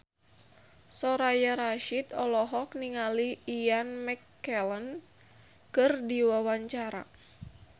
Soraya Rasyid olohok ningali Ian McKellen keur diwawancara